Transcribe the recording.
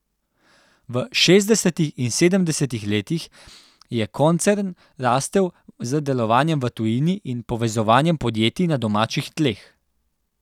V šestdesetih in sedemdesetih letih je koncern rastel z delovanjem v tujini in povezovanjem podjetij na domačih tleh.